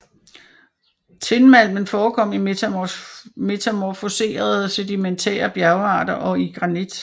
Tinmalmen forekom i metamorfoserede sedimentære bjergarter og i granit